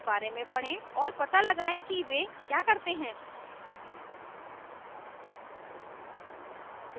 और पता लगाएं कि वे क्या करते हैं